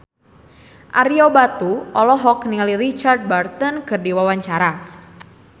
Ario Batu olohok ningali Richard Burton keur diwawancara